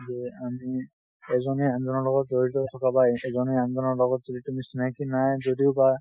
যে আমি এজনে আনজনৰ লগত জৰিত থকা, বা এজনে আনজনৰ লগত যদি কোনো চিনাকি নাই যদিও বা